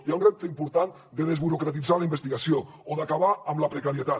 hi ha un repte important de desburocratitzar la investigació o d’acabar amb la precarietat